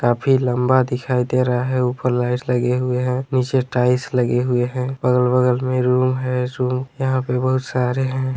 काफी लंबा दिखाई दे रहा है ऊपर लाइट्स लगे हुए हैं नीचे टाइल्स लगी हुई है और अगल-बगल में रूम है जो यहाँ पर बहुत सारे हैं।